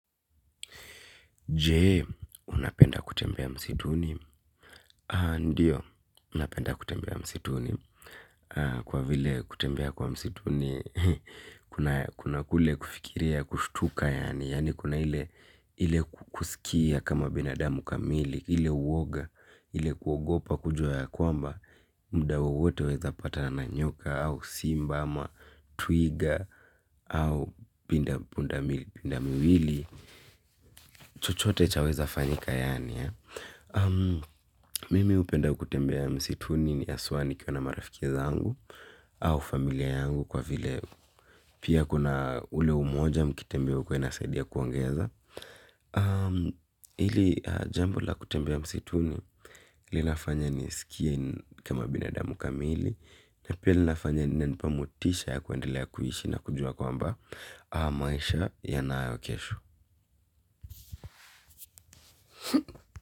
Jee, unapenda kutembea msituni. Ndiyo, napenda kutembea msituni. Kwa vile kutembea kwa msituni, kuna kule kufikiria, kushtuka, yani, kuna ile kusikia kama binadamu kamili, ile uoga, ile kuogopa kujua ya kwamba, mda wowote waeza patna nanyoka, au simba, ama twiga, au punda miwili. Chochote chaweza fanyika yaani ya mimi upenda kutembea msituni ni haswaa nikiwa na marafikiza zangu. Au familia yangu kwa vile pia kuna ule umoja mkitembea huku inasaidia kuongeza hili jambo la kutembea msituni. Linafanya niskie kama binadamu kamili. Na pia linafanya lina nipa motisha ya kuendelea kuishi na kujua kwamba maisha ya nayo kesho.